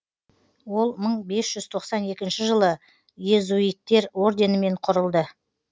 ол мыңбес жүз тоқсан екінші жылы иезуиттер орденімен құрылды